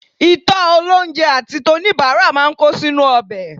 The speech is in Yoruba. Ìtọ́ olóunjẹ àti toníbàárà máa ń kó sínú ọbẹ̀